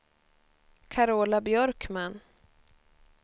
Carola Björkman